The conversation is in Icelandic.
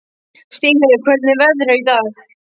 Stígheiður, hvernig er veðrið í dag?